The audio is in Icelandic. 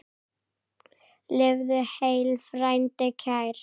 Lifðu heill, frændi kær!